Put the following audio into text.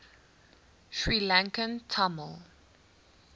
sri lankan tamil